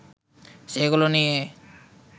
সেগুলো নিয়ে